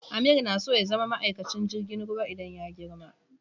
Amir na so ya zama maikacin jirgin ruwa idan ya girma.